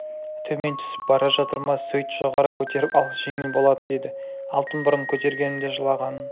төмен түсіп бара жатыр ма сөйт жоғары көтеріп ал жеңіл болады деді алтын бұрын көтергенімде жылағанын